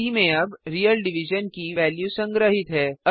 सी में अब real division की वेल्यू संग्रहीत है